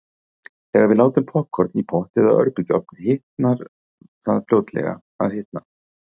Þegar við látum poppkorn í pott eða örbylgjuofn byrjar það fljótlega að hitna.